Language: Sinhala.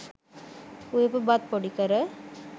උයපු බත් පොඩි කර